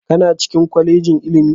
Kana cikin kwalejin ilimi?